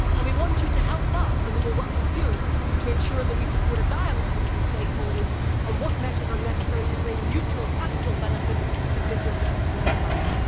We want you to help us, and we will work with you, to ensure that we support a dialogue between stakeholders on what measures are necessary to bring mutual practical benefits for business and consumers alike.